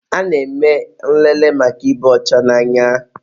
a na-eme nlele maka ịba ọcha n'anya